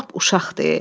Lap uşaqdı ee.